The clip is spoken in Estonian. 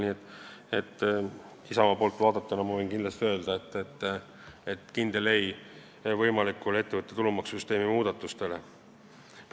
Nii et Isamaa poolt vaadatuna ma võin kindlasti öelda: kindel ei võimalikule ettevõtte tulumaksu süsteemi muudatustele.